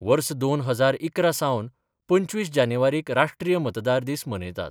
वर्स दोन हजार इकरा सावन पंचवीस जानेवारीक राष्ट्रीय मतदार दीस मनयतात.